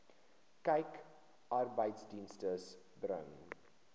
kyk arbeidsdienste bring